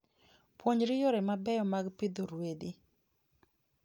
Puonjri yore mabeyo mag pidho ruedhi.